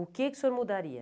O que o senhor mudaria?